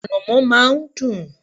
Ànàmọ́ má a n dùn